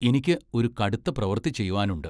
എനിക്ക് ഒരു കടുത്ത പ്രവൃത്തി ചെയ്‌വാനുണ്ട്.